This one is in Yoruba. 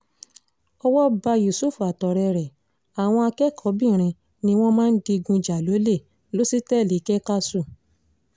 owó bá yusuf àtọ̀rẹ́ ẹ̀ àwọn akẹ́kọ̀ọ́-bìnrin ni wọ́n máa ń digun jà lọ́lẹ̀ lọ́sítẹ́ẹ̀lì kékàsù